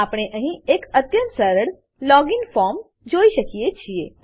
આપણે અહીં એક અત્યંત સરળ લોગિન ફોર્મ લોગીન ફોર્મ જોઈ શકીએ છીએ